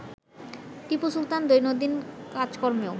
টিপু সুলতান দৈনন্দিন কাজকর্মেও